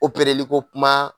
li ko kuma